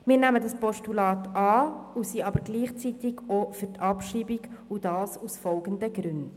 Wir nehmen dieses Postulat an, sind aber gleichzeitig für die Abschreibung, und zwar aus folgenden Gründen: